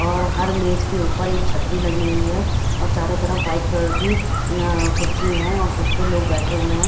और हर मेज के ऊपर एक छतरी लगी हुई है और चारों तरफ वाइट कलर की कुर्सी है और जिस पर लोग बैठे हुए हैं।